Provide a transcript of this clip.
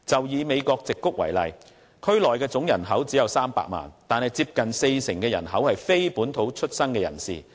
以美國矽谷為例，區內總人口只有300萬，但當中接近四成人口是非本土出生的人士。